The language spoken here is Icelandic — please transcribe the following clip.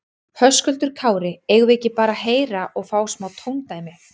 Höskuldur Kári: Eigum við ekki bara að heyra og fá smá tóndæmi?